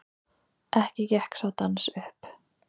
Ekki gekk sá dans upp.